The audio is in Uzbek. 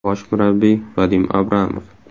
Bosh murabbiy: Vadim Abramov.